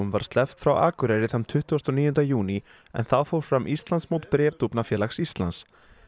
var sleppt frá Akureyri þann tuttugasta og níunda júní en þá fór fram Íslandsmót Bréfdúfnafélags Íslands